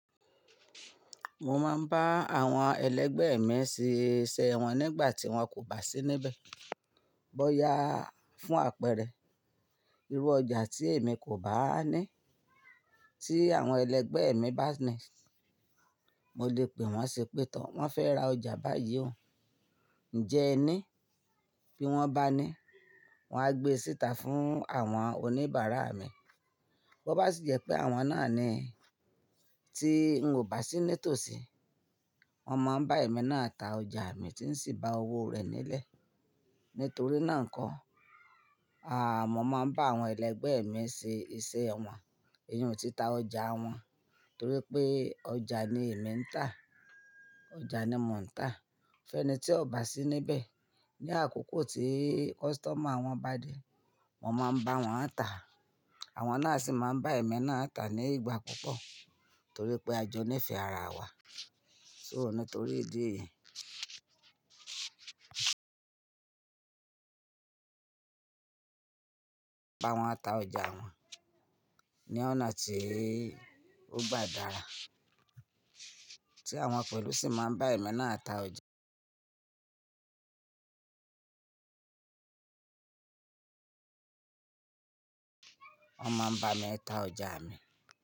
Mo máa ń bá àwọn ẹlẹgbẹ́ mi ṣe iṣẹ́ wọn nígbà tí wọ́n kò bá sí níbẹ̀. Bọ́ya fún àpẹẹrẹ, irú ọjà tí èmi kò báa ní, tí àwọn ẹlẹgbẹ́ mi bá ní, mo lè pè wọ́n ṣé pè to. Wọ́n fẹ́ ra ọjà báyìí o, ń jẹ ẹ ní, bí wọ́n bá ní, wán gbé e síta fún àwọn oníbàárà mi. Bó bá sì jẹ́ pé àwọn náà ni tí n ò bá sí ní tòsí, wọ́n máa ń bá èmi náà ta ọjà mi tí ń sì ba owó rẹ̀ nílẹ̀. Nítorí náà nkọ́, aà, mo máa ń bá àwọn ẹlẹgbẹ́ mi ṣe iṣẹ́ wọn, iyùn títa ọjà wọn, torí pé ọjà ni èmi ń tà, ọjà ni mò ń tà. Fẹ́ni tí ò bá sí níbẹ̀, ní àkókò tí customer wọn bá dé, wọ́n máa ń bá wọn ń tà a. Àwọn náà sì máa ń bá èmi náà tà ní ìgbà púpọ̀, torí pé à jọ nífẹ̀ ara wa. So nítorí ìdí èyìí àwọn a ta ọjà wọn. Ni ọ̀nà tí ó bá dára, tí àwọn pẹ̀lú sì máa ń bá èmi náà ta ọjà. Wọ́n máa ń bá mi i ta ọjà mi.